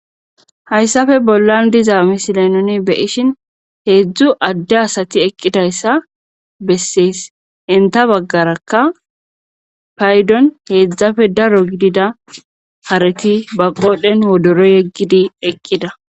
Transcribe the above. hayssafe bollan diza misila noni beyishin heedzdzu adde asati eqqidayssa bessees enta baggarakka paydon heedzdzafe daro gidida hareti baqodhen wodoro yeggidi eqqida